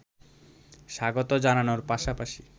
স্বাগত জানানোর পাশাপাশি